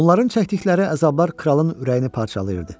Onların çəkdiyi əzablar kralın ürəyini parçalayırdı.